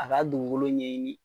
A ka dugukolo ɲɛɲini,